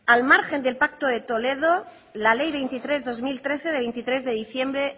al margen del pacto de toledo la ley veintitrés barra dos mil trece de veintitrés de diciembre